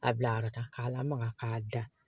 A bila yɔrɔ ta k'a lamaga k'a da